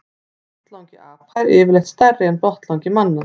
Botnlangi apa er yfirleitt stærri en botnlangi manna.